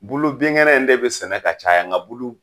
Bulu binkɛnɛ in de bi sɛnɛ ka caya, nga bulu